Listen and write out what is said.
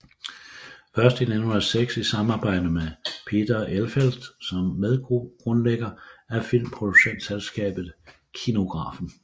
Først i 1906 i samarbejde med Peter Elfelt som medgrundlægger af filmproducentselskabet Kinografen